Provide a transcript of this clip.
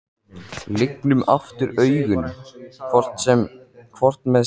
Lygnum aftur augunum, hvort með sinn ullarsokkinn undir hausnum.